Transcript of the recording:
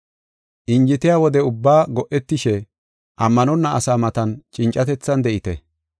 Injetiya wode ubbaa go7etishe ammanonna asaa matan cincatethan de7ite.